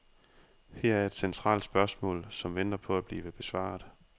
Her er et centralt spørgsmål, som venter på at blive besvaret.